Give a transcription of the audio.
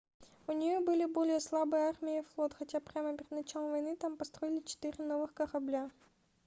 у нее были более слабые армия и флот хотя прямо перед началом войны там построили четыре новых корабля